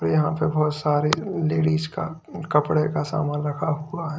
यहां पे बहुत सारी लेडिस का कपड़े का सामान रखा हुआ।